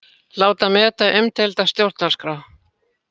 Láta meta umdeilda stjórnarskrá